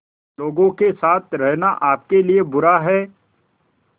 लोगों के साथ रहना आपके लिए बुरा है